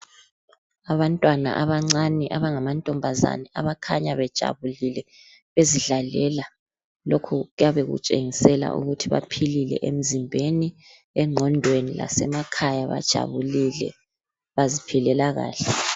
Abantwana abancane abangama ntombazana, abakhanya bejabulile bezidlalela lokhu kuyabe kutshengisela ukuthi baphilile emzimbeni, engqondweni, lasemakhaya bajabulile baziphilela kahle.